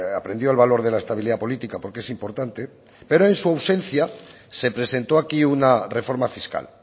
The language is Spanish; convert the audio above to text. aprendió el valor de la estabilidad política porque es importante pero en su ausencia se presentó aquí una reforma fiscal